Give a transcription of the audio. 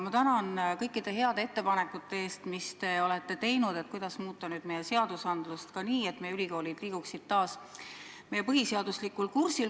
Ma tänan kõikide heade ettepanekute eest, mis te olete teinud selle kohta, kuidas muuta seadust nii, et meie ülikoolid liiguksid taas põhiseaduslikul kursil.